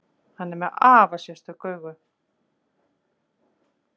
Hann er með afar sérstök augu.